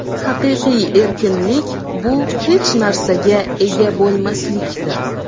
Haqiqiy erkinlik bu hech narsaga ega bo‘lmaslikdir.